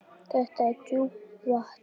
Þetta er djúpt vatn.